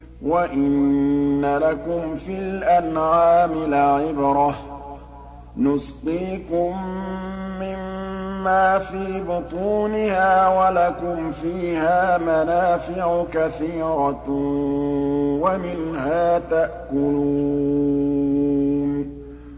وَإِنَّ لَكُمْ فِي الْأَنْعَامِ لَعِبْرَةً ۖ نُّسْقِيكُم مِّمَّا فِي بُطُونِهَا وَلَكُمْ فِيهَا مَنَافِعُ كَثِيرَةٌ وَمِنْهَا تَأْكُلُونَ